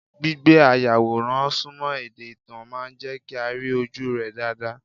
Gbígbé ayàwòrán Súmọ́ ẹ̀dá ìtàn máa jẹ́ kí a rí ojúu rẹ́ dáadáa.